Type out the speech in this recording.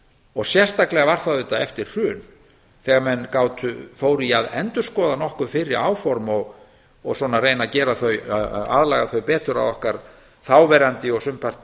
og sérstaklega var það eftir hrun þegar menn fóru í að endurskoða nokkuð fyrri áform og svona að reyna að aðlaga þau betur að okkar þáverandi og sumpart